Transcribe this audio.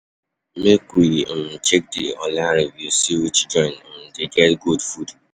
Make Make we um check di online reviews, see which joint um dey get good food.